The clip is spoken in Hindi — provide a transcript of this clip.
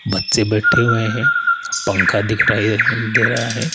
बच्चे बैठे हुए हैं पंखा दिख रहे है दे रहा है।